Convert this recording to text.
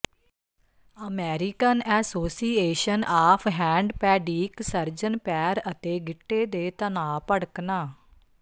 American association of ਹੈਂਡਪੈਡੀਕ surgeon ਪੈਰ ਅਤੇ ਗਿੱਟੇ ਦੇ ਤਣਾਅ ਭੜਕਣਾ